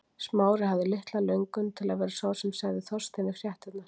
Smári hafði litla löngun til að vera sá sem segði Þorsteini fréttirnar.